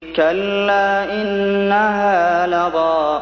كَلَّا ۖ إِنَّهَا لَظَىٰ